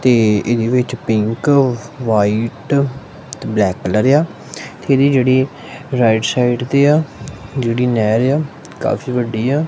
ਤੇ ਇਹਦੇ ਵਿੱਚ ਪਿੰਕ ਵਾਈਟ ਤੇ ਬਲੈਕ ਕਲਰ ਏ ਆ ਤੇ ਇਹਦੀ ਜਿਹੜੀ ਰਾਈਟ ਸਾਈਡ ਤੇ ਆ ਜਿਹੜੀ ਨਹਿਰ ਆ ਕਾ ਫੀ ਵੱਡੀ ਆ।